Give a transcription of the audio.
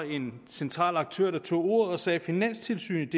en central aktør som tog ordet og sagde finanstilsynet